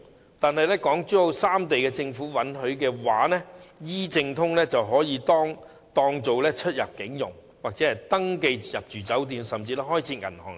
不過，假如港珠澳三地政府允許 ，"E 證通"便可以當作出入境、登記入住酒店或開設銀行之用。